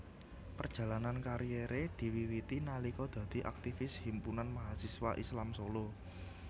Perjalanan kariere diwiwiti nalika dadi aktivis Himpunan Mahasiswa Islam Solo